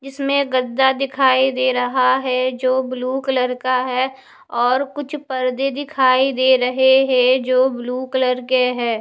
जिसमें गद्दा दिखाई दे रहा है जो ब्लू कलर का है और कुछ पर्दे दिखाई दे रहे है जो ब्लू कलर के है।